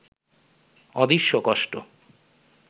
অদৃশ্য কষ্ট